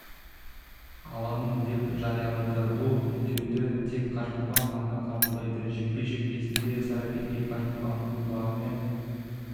аламын деп жариялайды бұл үндеуді тек қажымұқан ғана қабылдайды жекпе-жек кезінде саракики қажымұқанның құлағы мен